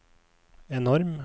enorm